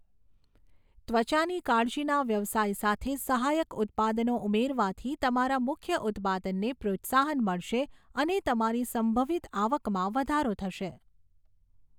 ત્વચાની કાળજીના વ્યવસાય સાથે સહાયક ઉત્પાદનો ઉમેરવાથી તમારા મુખ્ય ઉત્પાદનને પ્રોત્સાહન મળશે અને તમારી સંભવિત આવકમાં વધારો થશે.